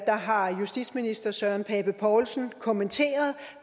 har justitsminister søren pape poulsen kommenteret